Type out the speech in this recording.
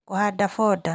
Kũhanda foda